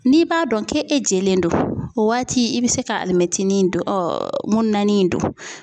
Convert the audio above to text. N'i b'a dɔn k'e jɛlen do o waati i bɛ se ka alimɛtinin in don ŋununanin in don.